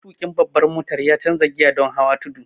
Matuƙin babbar mota ya canza giya don hawa tudu.